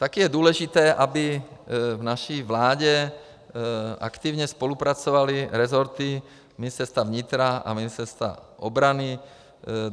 Také je důležité, aby v naší vládě aktivně spolupracovaly resorty Ministerstva vnitra a Ministerstva obrany.